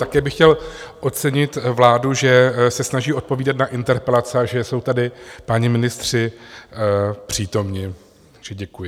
Také bych chtěl ocenit vládu, že se snaží odpovídat na interpelace a že jsou tady páni ministři přítomni, takže děkuji.